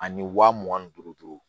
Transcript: Ani wa mugan ni duuru